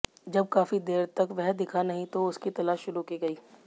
जब काफी देर तक वह दिखा नहीं तो उसकी तलाश शुरू की गई